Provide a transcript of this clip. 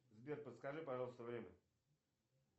сбер подскажи пожалуйста время